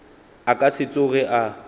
a ka se tsoge a